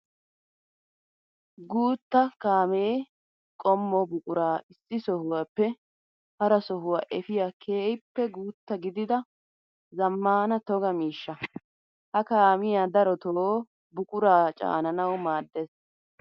Guutta kaame daro qommo buqura issi sohuwappe hara sohuwa efiya keehippe guuta gididda zamaana toga miishsha. Ha kaamiya darotto buqura caananawu maades.